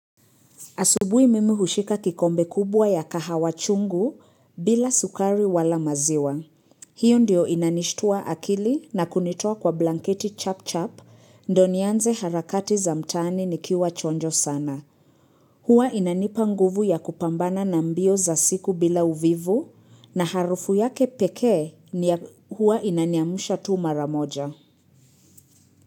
Asubuhi mimi hushika kikombe kubwa ya kahawa chungu bila sukari wala maziwa. Hiyo ndio inanishitua akili na kunitoa kwa blanketi chap chap, ndo nianze harakati za mtaani ni kiwa chonjo sana. Hua inanipa nguvu ya kupambana na mbio za siku bila uvivu, na harufu yake pekee ni hua inaniamusha tu maramoja.